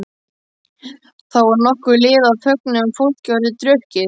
Þá var nokkuð liðið á fögnuðinn og fólk orðið drukkið.